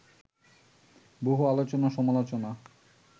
বহু আলোচনা-সমালোচনা